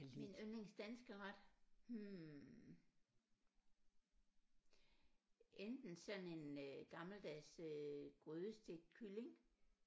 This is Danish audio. Min yndlings danske ret hm enten sådan en øh gammeldags øh grydestegt kylling